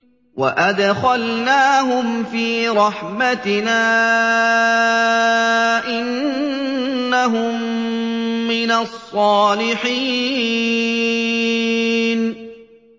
وَأَدْخَلْنَاهُمْ فِي رَحْمَتِنَا ۖ إِنَّهُم مِّنَ الصَّالِحِينَ